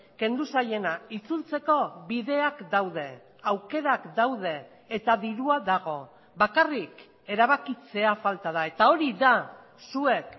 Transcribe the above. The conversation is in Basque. kendu zaiena itzultzeko bideak daude aukerak daude eta dirua dago bakarrik erabakitzea falta da eta hori da zuek